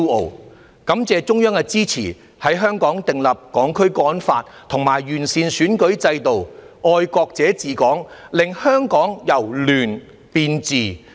我亦要感謝中央支持，在香港訂立《香港國安法》及完善選舉制度，"愛國者治港"，令香港由亂變治。